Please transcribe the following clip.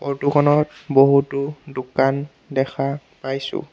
Photo খনত বহুতো দোকান দেখা পাইছোঁ।